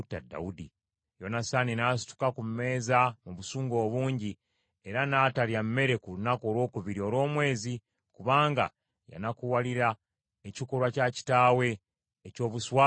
Yonasaani n’asituka ku mmeeza mu busungu obungi, era n’atalya mmere ku lunaku olwokubiri olw’omwezi, kubanga yanakuwalira ekikolwa kya kitaawe eky’obuswavu eri Dawudi.